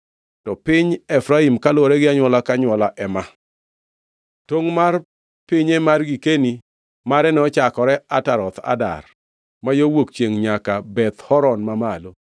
To piny Efraim kaluwore gi anywola ka anywola ema: Tongʼ mar pinye mane girkeni mare nochakore Ataroth Adar, ma yo wuok chiengʼ nyaka Beth Horon Mamalo,